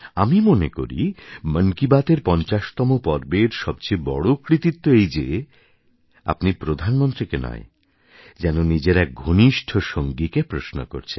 আমি মনে করি মন কি বাতের ৫০তম পর্বের সবচেয়ে বড় কৃতিত্ব এই যে আপনি প্রধানমন্ত্রীকে নয় যেন নিজের এক ঘনিষ্ঠ সঙ্গীকে প্রশ্ন করছেন